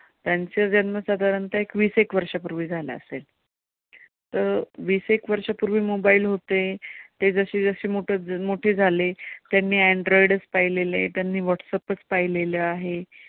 ज्यांचा जन्म साधारणतः एक वीस एक वर्षापूर्वी झाला असेल तर वीस एक वर्षापूर्वी mobile होते, ते जसेजसे मोठे झाले त्यांनी android चं पाहिलेले आहेत आणि व्हाट्सएपचं पाहिलेले आहे.